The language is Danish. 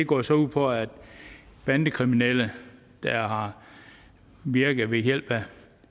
går så ud på at bandekriminelle der har virket ved hjælp af